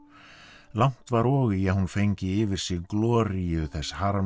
langt var og í að hún fengi yfir sig gloríu þess